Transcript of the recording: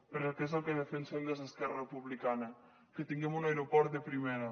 perquè és el que defensem des d’esquerra republicana que tinguem un aeroport de primera